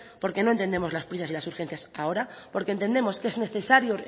porque no entendemos las prisas y las urgencias ahora porque entendemos que es necesario